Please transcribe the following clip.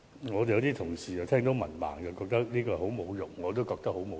有些議員對於被指是文盲覺得很侮辱，我也覺得很侮辱。